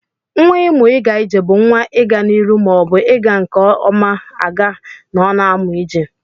Nwa imu iga ije bu nwa iga na iru ma o bu iga nke ọna aga ma ọna amụ ije.